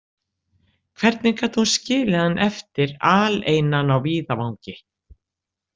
Hvernig gat hún skilið hann eftir aleinan á víðavangi?